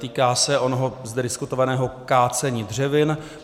Týká se onoho zde diskutovaného kácení dřevin.